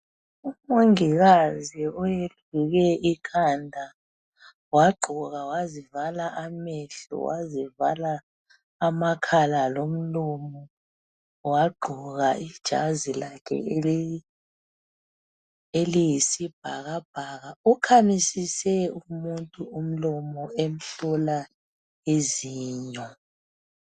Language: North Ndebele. Umongikazi oyeluke ikhanda wagqoka wazivala amehlo, wazivala amakhala lomlomo wagqoka ijazi lakhe eli eliyisibhakabhaka ukhamisise umuntu umlomo emhlola izinyo.